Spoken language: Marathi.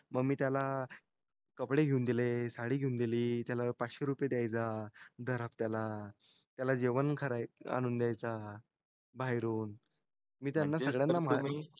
मग मी त्याला कपडे घेऊन दिले साडी घेऊन दिली त्याला पाचशे रुपये दयायचा दर हफ्त्याला त्याला जेवण आणून द्यायचा बाहेरून